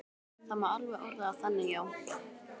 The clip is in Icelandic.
Það má alveg orða það þannig, já.